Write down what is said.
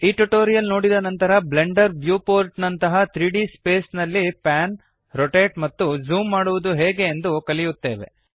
ಈ ಟ್ಯುಟೋರಿಯಲ್ ನೋಡಿದ ನಂತರ ಬ್ಲೆಂಡರ್ ವ್ಹ್ಯೂಪೋರ್ಟ್ ನಂತಹ 3ಡಿ ಸ್ಪೇಸ್ ನಲ್ಲಿ ಪ್ಯಾನ್ ರೊಟೇಟ್ ಮತ್ತು ಝೂಮ್ ಮಾಡುವದು ಹೇಗೆ ಎಂದು ಕಲಿಯುತ್ತೇವೆ